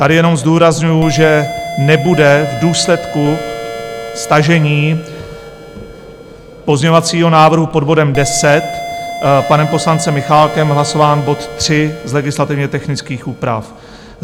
Tady jenom zdůrazňuji, že nebude v důsledku stažení pozměňovacího návrhu pod bodem 10 panem poslancem Michálkem hlasován bod 3 z legislativně technických úprav.